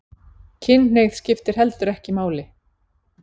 Kynhneigð skiptir heldur ekki máli